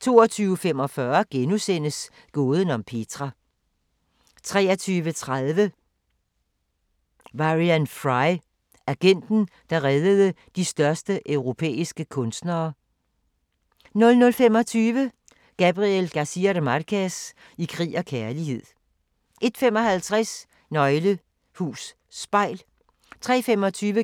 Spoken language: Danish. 22:45: Gåden om Petra * 23:30: Varian Fry: Agenten, der reddede de største europæiske kunstnere 00:25: Gabriel García Márquez – i krig og kærlighed 01:55: Nøgle Hus Spejl 03:25: